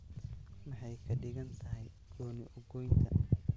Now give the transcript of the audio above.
Maxay ka dhigan tahay gooni-u-goynta?